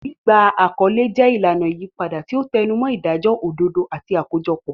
Gbígba àkọlé jẹ́ ìlànà ìyípadà, tí ó tẹnumọ́ ìdájọ́ òdodo àti àkójọpọ̀.